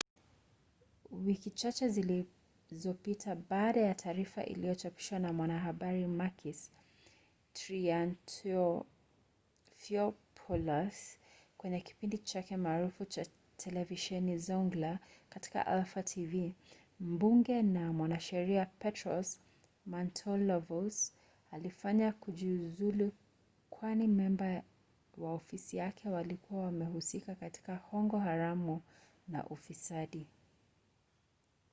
wiki chache zilizopita baada ya taarifa iliyochapishwa na mwanahabari makis triantafylopoulos kwenye kipindi chake maarufu cha televisheni zoungla katika alpha tv mbunge na mwanasheria petros mantouvalos alifanywa kujiuzulu kwani memba wa ofisi yake walikuwa wamehusika katika hongo haramu na ufisadi